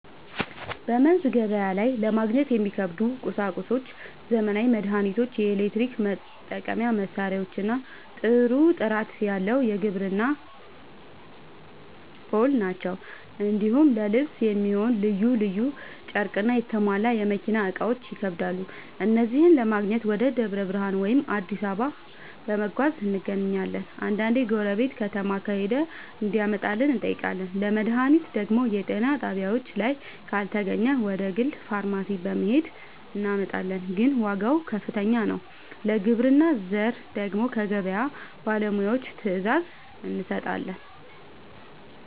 በመንዝ ገበያ ላይ ለማግኘት የሚከብዱ ቁሳቁሶች ዘመናዊ መድሃኒቶች፣ የኤሌክትሪክ መጠቀሚያ መሳሪያዎችና ጥሩ ጥራት ያለው የግብርና ᛢል ናቸው። እንዲሁም ለልብስ የሚሆን ልዩ ልዩ ጨርቅና የተሟላ የመኪና እቃዎች ይከብዳሉ። እነዚህን ለማግኘት ወደ ደብረ ብርሃን ወይም አዲስ አበባ በመጓዝ እናገኛለን፤ አንዳንዴ ጎረቤት ከተማ ከሄደ እንዲያመጣልን እንጠይቃለን። ለመድሃኒት ደግሞ የጤና ጣቢያችን ላይ ካልተገኘ ወደ ግል ፋርማሲ በመሄድ እናመጣለን፤ ግን ዋጋው ከፍተኛ ነው። ለግብርና ዘር ደግሞ ከገበያ ባለሙያዎች ትዕዛዝ እንሰጣለን።